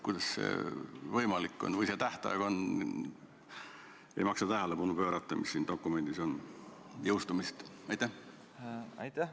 Kuidas see võimalik on või sellele tähtajale ei maksa tähelepanu pöörata, mis siin dokumendis on?